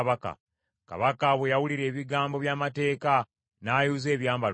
Kabaka bwe yawulira ebigambo by’amateeka, n’ayuza ebyambalo bye.